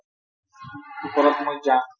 ওপৰত মই যাম